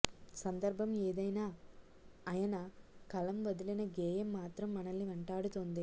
సందర్భం ఏదైనా అయన కలం వదిలిన గేయం మాత్రం మనల్ని వెంటాడుతుంది